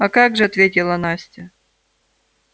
а как же ответила настя